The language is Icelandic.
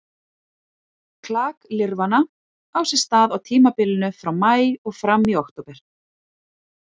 Klak lirfanna á sér stað á tímabilinu frá maí og fram í október.